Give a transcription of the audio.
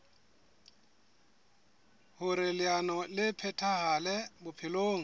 hoer leano le phethahale bophelong